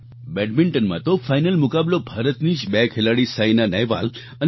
બેડમિન્ટનમાં તો ફાઈનલ મુકાબલો ભારતની જ બે ખેલાડી સાઈના નેહવાલ અને પી